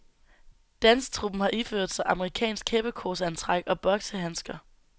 Dansetruppen har iført sig amerikansk heppekorsantræk, og boksehandsker.